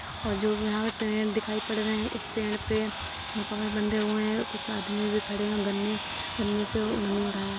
और जो यहा पर पेड़ दिखाई पर रहे है| इस पेड़ पे बधे हुए है कुछ आदमी भी खडे है और गन्ने-गन्ने से ओढनी उढ़ाया हुआ।